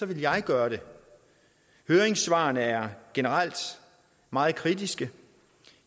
vil jeg gøre det høringssvarene er generelt meget kritiske